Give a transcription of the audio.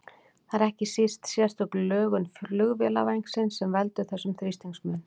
Það er ekki síst sérstök lögun flugvélarvængsins sem veldur þessum þrýstingsmun.